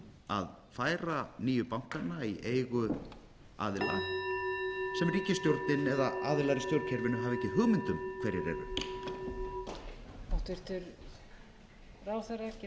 að færa nýju bankana í eigu aðila sem ríkisstjórnin eða aðilar í stjórnkerfinu hafa ekki hugmynd um hverjir eru